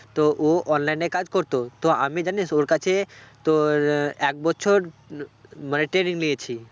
তো ও online এ কাজ করত তো আমি জানিস ওর কাছে তোর এক বছর মানে training নিয়েছি